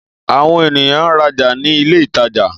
Àwon ènìyán ń rajà ní ilé ìtajà